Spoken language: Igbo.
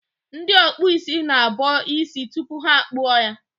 Ndị ọkpụ isi na-abọ isi tupu ha akpụọ ya.